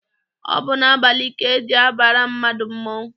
Ọ bụ n'abalị ka eji abara mmadụ mmọnwụ.